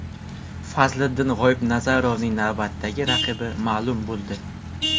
Fazliddin G‘oibnazarovning navbatdagi raqibi ma’lum bo‘ldi.